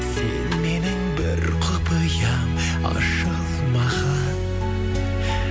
сен менің бір құпиям ашылмаған